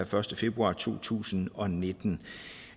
første februar to tusind og nitten